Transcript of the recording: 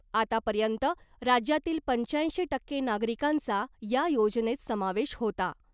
आतापर्यंत राज्यातील पंच्याऐंशी टक्के नागरिकांचा या योजनेत समावेश होता .